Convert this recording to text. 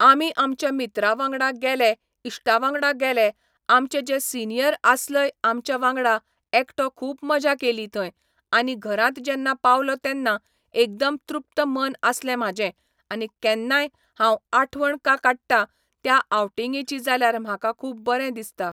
आमी आमच्या मित्रा वांगडा गेले इश्टा वांगडा गेले आमचे जे सिनियर आसलय आमच्या वांगडा एकटो खूब मजा केली थंय आनी घरांत जेन्ना पावलो तेन्ना एकदम तृप्त मन आसलें म्हाजें आनी केन्नाय हांव आठवण का काडटा त्या आवटिंगेची जाल्यार म्हाका खूब बरें दिसता